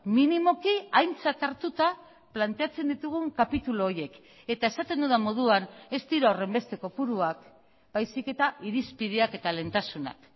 minimoki aintzat hartuta planteatzen ditugun kapitulu horiek eta esaten dudan moduan ez dira horrenbeste kopuruak baizik eta irizpideak eta lehentasunak